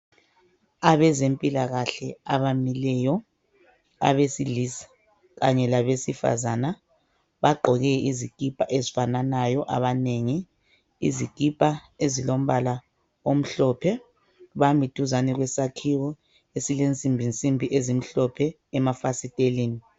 Abezempilakahle abamileyo. Abesilisa kanye labesifazana bagqoke izikipa ezifananayo abanengi. Izikipa ezilombala omhlophe. Bamiduzane kwesakhiwo esilensimbinsimbi ezimhlophe emafastelini.